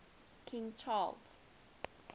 king charles